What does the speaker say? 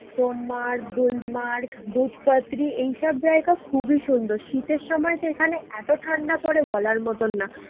সোনমার্গ, গুলমার্গ, দুধপাথরি এইসব জায়গা খুবই সুন্দর। শীতের সময় তো এখানে এতো ঠান্ডা পরে বলার মতন না।